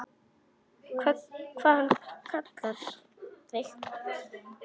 Hvað hann kallar þig?